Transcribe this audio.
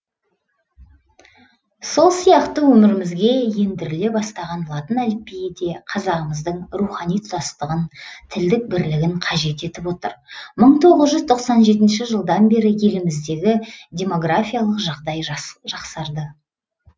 сол сияқты өмірімізге ендіріле бастаған латын әліпбиі де қазағымыздың рухани тұтастығын тілдік бірлігін қажет етіп отыр мың тоғыз жүз тоқсан жетінші жылдан бері еліміздегі демографиялық жағдай жақсарды